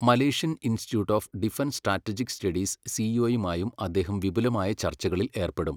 Malaysian institute of defence strategic studies സിഇഒയുമായും അദ്ദേഹം വിപുലമായ ചർച്ചകളിൽ ഏർപ്പെടും.